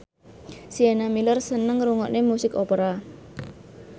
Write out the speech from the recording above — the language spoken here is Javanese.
Sienna Miller seneng ngrungokne musik opera